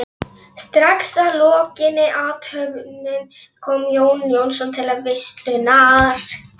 Strax að lokinni athöfninni kom Jón Jónsson til veislunnar.